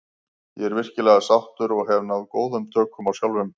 Ég er virkilega sáttur og hef náð góðum tökum á sjálfum sér.